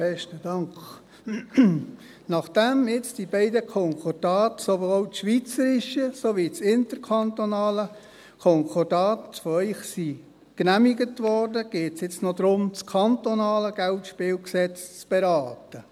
der SiK. Nachdem jetzt die beiden Konkordate, sowohl das schweizerische als auch das interkantonale Konkordat, von Ihnen genehmigt wurden, geht es jetzt noch darum, das KGSG zu beraten.